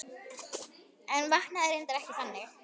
En vaknaði reyndar ekki þannig.